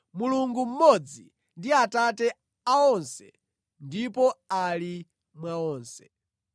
Mulungu mmodzi ndi Atate a onse, ndipo ali mwa onse.